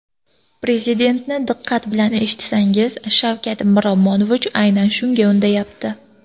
Prezidentni diqqat bilan eshitsangiz, Shavkat Miromonovich aynan shunga undayapti.